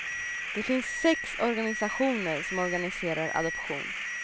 Det finns sex organisationer som organiserar adoption.